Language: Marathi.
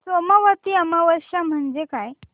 सोमवती अमावस्या म्हणजे काय